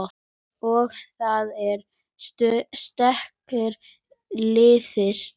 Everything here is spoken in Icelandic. Og það er styrkur liðsins